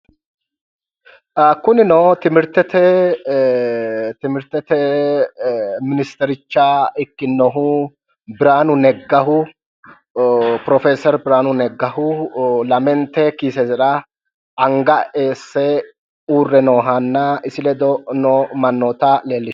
Kunino timirtete ministericha ikkinnohu biraanu neggaho. Pirofeeseri biraanu neggaho. Lamente kiisera anga eesse uurre noohanba isi ledo noo mannoota leellishshanno.